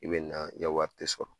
I be na, i ka wari te sɔrɔ.